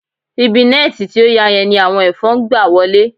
Ibi nẹ́ẹ̀ti tí ó ya yẹn ni àwọn ẹ̀fọn ń gba wọlé